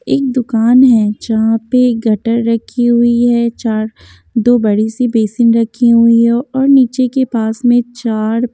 एक दुकान है जहाँ पे गटर रखी हुई है चार दो बड़ी सी बेसिन रखी हुई है और नीचे के पास में चार --